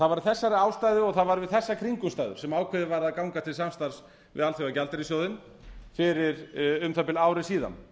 það var af þessari ástæðu og það var við þessar kringumstæður sem ákveðið var að ganga til samstarfs við alþjóðagjaldeyrissjóðinn fyrir um það bil ári síðan